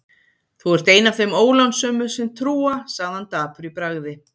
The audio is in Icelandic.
Þú ert ein af þeim ólánsömu sem trúa sagði hann dapur í bragði.